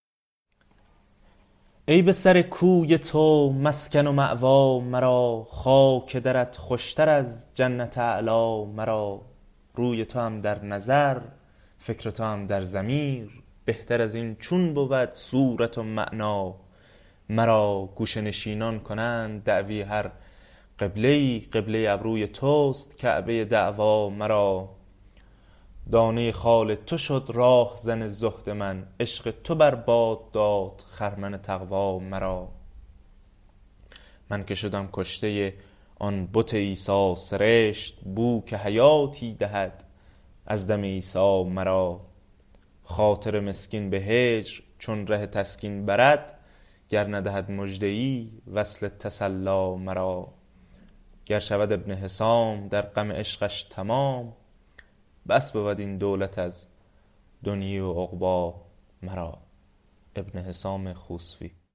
ای به سر کوی تو مسکن و مأوی مرا خاک درت خوش تر از جنت اعلی مرا روی توام در نظر فکر توام در ضمیر بهتر از این چون بود صورت و معنی مرا گوشه نشینان کنند دعوی هر قبله ای قبله ابروی توست کعبه دعوی مرا دانه خال تو شد راهزن زهد من عشق تو بر باد داد خرمن تقوی مرا من که شدم کشته آن بت عیسی سرشت بو که حیاتی دهد از دم عیسی مرا خاطر مسکین به هجر چون ره تسکین برد گر ندهد مژده ای وصل تسلی مرا گر شود ابن حسام در غم عشقش تمام بس بود این دولت از دنیی و عقبی مرا